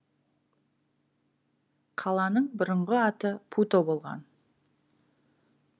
қаланың бұрынғы аты путо болған